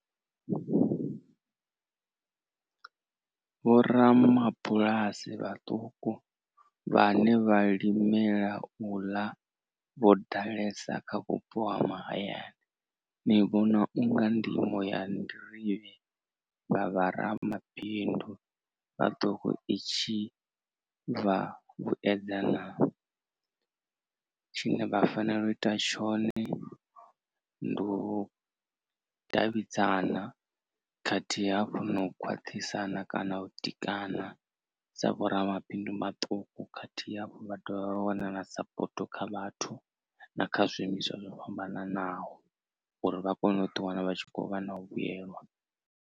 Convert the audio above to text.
Vho ramabulasi vhaṱuku vhane vha limela u ḽa vho ḓalesa kha vhupo ha mahayani ndi vhona u nga ndimo ya nḓirivhe nga vharamabindu vha ḓo ri itshi tshine vha fanela u ita tshone ndi u davhidzana khathihi hafhu no u khwaṱhisa kana u ḓikana sa vhoramabindu maṱuku khathihi hafhu vha dovha vha wana na sapoto kha vhathu na kha zwiimiswa zwo fhambananaho uri vha kone u ḓi wana vha tshi khou vha na u vhuyelwa.